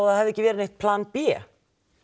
að það hafi ekki verið neitt plan b